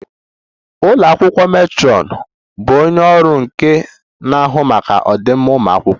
Ụlọ akwụkwọ matron bụ onye ọrụ nke na-ahụ maka ọdịmma ụmụ akwụkwọ